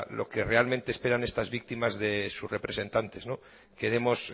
lo que realmente esperan estas víctimas de sus representantes que demos